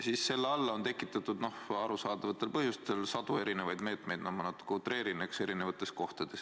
Siis selle alla on tekitatud arusaadavatel põhjustel sadu erinevaid meetmeid – no ma natuke utreerin – erinevates kohtades.